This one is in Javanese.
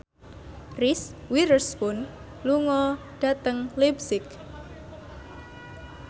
Reese Witherspoon lunga dhateng leipzig